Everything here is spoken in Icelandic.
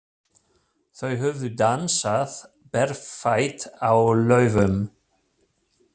Þau höfðu dansað berfætt á laufum.